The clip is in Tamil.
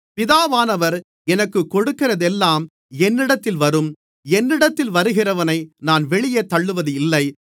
பிதாவானவர் எனக்குக் கொடுக்கிறதெல்லாம் என்னிடத்தில் வரும் என்னிடத்தில் வருகிறவனை நான் வெளியே தள்ளுவதில்லை